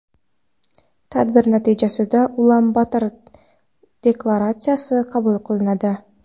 Tadbir natijasida Ulan-Bator deklaratsiyasi qabul qilinadi.